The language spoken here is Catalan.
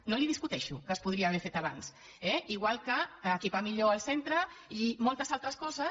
no li ho discuteixo que es podria haver fet abans eh igual que equipar millor el centre i moltes altres coses